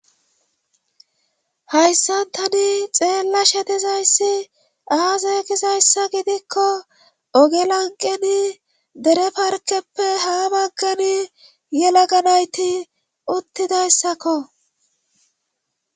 hayssantani xeella shetizayssi aazeegizayssa gidikko ogelanqeni dere parkeppe haa baggani yelaganayti uttidayssakko